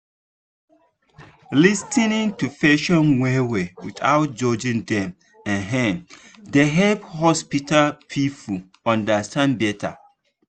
lis ten ing to patients well-well without judging dem um dey help hospital people understand better.